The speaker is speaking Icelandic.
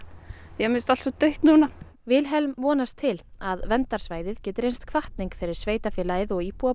mér finnst allt svo dautt núna Vilhelm vonast til að verndarsvæðið geti reynst hvatning fyrir sveitarfélagið og íbúa